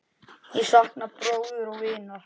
Ég sakna bróður og vinar.